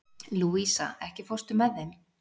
Louisa, ekki fórstu með þeim?